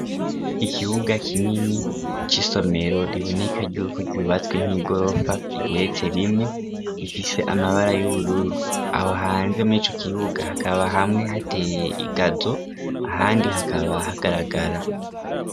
Ikibuga kinini c'isomero riboneka yuko ryubatswe nk'igorofa igeretse rimwe ifise amabara y'ubururu, aho hanze mur'ico kibuga hakaba hamwe hateye igazo ahandi hakaba hagaragara.